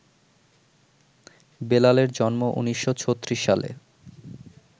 বেলালের জন্ম ১৯৩৬ সালে